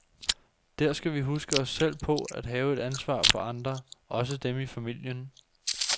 Der skal vi huske os selv på at have et ansvar for andre, også dem i familien.